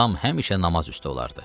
Atam həmişə namaz üstü olardı.